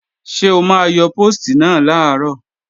Ṣé o máa yọ póòstì náà làárọ̀?